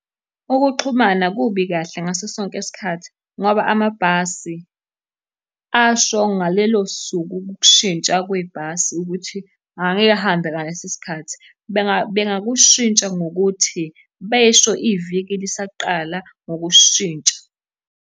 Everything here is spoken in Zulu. Ukuxhumana kubi kahle ngaso sonke isikhathi, ngoba amabhasi asho ngalelo suku ukushintsha kwebhasi ukuthi angeke ahambe ngalesi sikhathi. Bengakushintsha ngokuthi besho iviki lisaqala ngokushintsha.